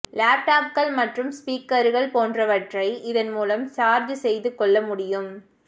லேப்டாப்கள் மற்றும் ஸ்பீக்கர்கள் போன்றவற்றை இதன் மூலம் சார்ஜ் செய்து கொள்ள முடியும்